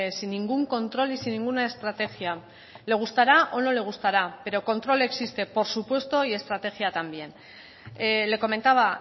sin ningún control y sin ninguna estrategia le gustará o no le gustará pero control existe por supuesto y estrategia también le comentaba